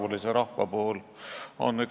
Helir-Valdor Seeder Isamaa fraktsiooni nimel, palun!